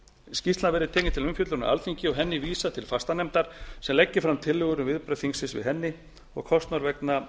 skýrslan verði tekin til umfjöllunar á alþingi og henni vísað til fastanefndar sem leggi fram tillögur um viðbrögð þingsins við henni kostnaður vegna